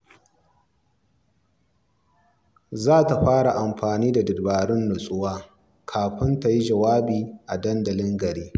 Za ta fara amfani da dabarun nutsuwa kafin ta yi jawabi a dandalin gari.